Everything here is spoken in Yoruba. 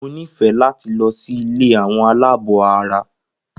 Mo nifẹ láti lọ sí ilé àwọn aláàbọ̀ara.